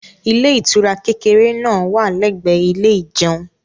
ilé ìtura kékeré náà wà l'ẹgbẹ ilé ìjeun